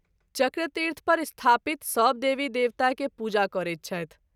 चक्रतीर्थ पर स्थापित सभ देवी देवता के पूजा करैत छथि।